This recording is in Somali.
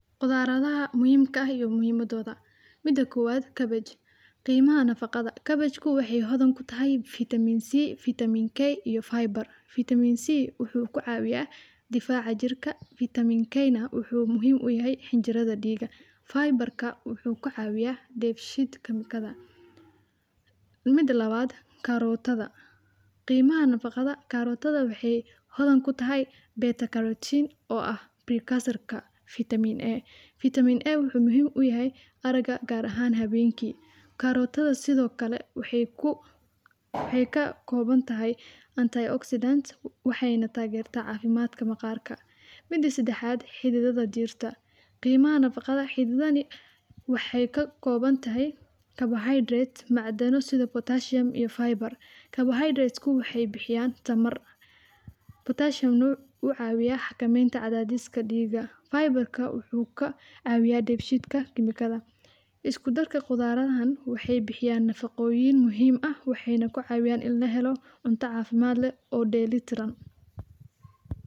qudaaradaha muhimka ah iyo muhiimadooda. Mida kuwad cabbage. Qiimaha nafaqada: cabbage ku waxay hodan ku tahay vitamin C, vitamin K iyo Fiber. vitamin C wuxuu ku caawiya difaaca jirka. vitamin K na wuxuu muhiim u yahay hin jirada dhiiga. Fiber ka wuxuu ka caawiya defisheed ka mikada. Mida lawaad [cs[carrot ada. Qiimaha nafaqada: [cs[carrot ada waxay hodan ku tahay beta carotin oo ah pre cursor ka Vitamin A Vitamin A.wuxuu muhiim u yahay araga gaar ahaan habeenkii. carrot ada sidoo kale waxay ku waxay ka kooban tahay anti oxidant waxayna taag gartaa caafimaadka maqaarka. Mida sida xaad xididada diirta. Qiimaha nafaqada: Xididan waxay ka kooban tahay carbohydrates macdano sida Pottasium iyo Fiber. carbohydrates ku waxay bixiyaan tamar. Pottasium u caawiya hakameynta cadaadiska dhiigga. Fiber ka wuxuu ka caawiya defisheet ka kimikada. Iskudarka khudaaradan waxay bixiyaan nafaqooyin muhiim ah waxayna ku caawiyaan in la helo cunto caafimaad leh oo dayliti ran.